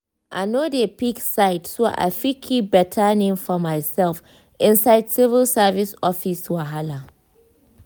i no dey pick side so i fit keep better name for myself inside civil service office wahala.